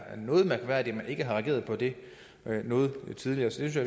noget mærkværdigt at man ikke har reageret på det noget tidligere så jeg